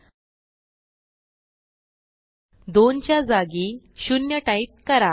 2 च्या जागी 0 टाईप करा